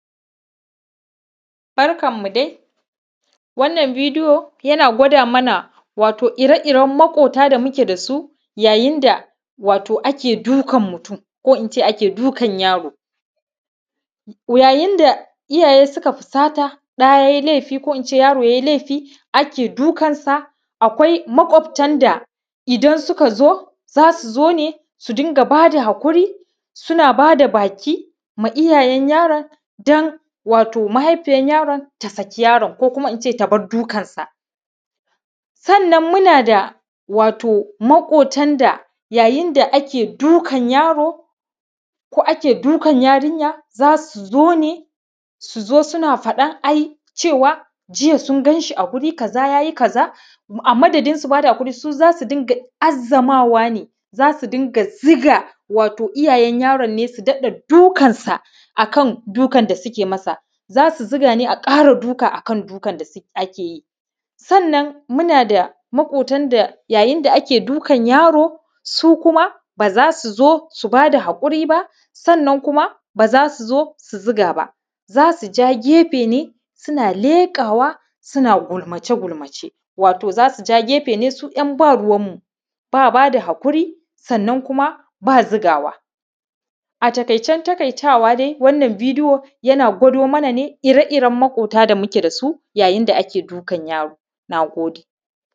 Barkanmu dai, wannan bidiyo yana gwada mana ire-iren maƙwafta da muke da su yayin da ake dukan mutum, ko in ce ake dukan yaro. Yayin da iyaye suka fusata ɗa ya yi lefi, ko in ce yaro ya yi lefi ake dukansa. Akwai maƙwaftan da idan suka zo, za su zo ne, su dunga ba da haƙuri, suna ba da baki ma iyayen yaron, domin mahaifiyar yaron ta bar dukansa. Sannan muna da maƙwaftan da yayin da ake dukan yaro, ko ake dukan yarinya, za su zo, su zo, suna faɗan cewa “ai jiya sun gan shi a wuri kaza, ya yi kaza.” A madadin su ba da haƙuri, su za su azzamawa ne, su dunga ziga wa iyayen yaron ne, su dunga dukansa akan dukan da suke masa, za su zuga, ne a ƙara duka akan dukan da ake masa. Sannan muna da maƙwaftan da yayin da ake dukan yaro, su kuma za su zo, su ba da haƙuri ba, sannan kuma ba za su zo su ziga ba, za su ja gefe ne, suna leƙawa, suna gulmace-gulmace. Wato z asu ja gefe ne, su yan ba ruwanmu ba, ba da haƙuri, sannan kuma ba zigawa. A taƙaicen taƙaitawa dai, wannan bidiyona yana gwada mana ire-iren maƙwafta da muke da su yayin da ake dukan yaro. Na gode.